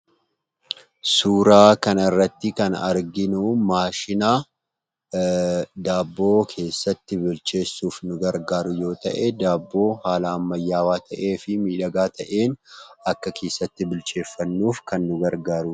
Suuraa kanarratti kan arginu maashina daabboo keessaatti bilcheessuuf nu gargaaru yoo ta'u, daabboo haala ammayyaawwaa ta'ee fi miidhagaa ta'een akka keessatti bilcheeffannuuf kan nu gargaaruudha.